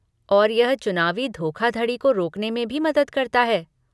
और यह चुनावी धोखाधड़ी को रोकने में भी मदद करता है।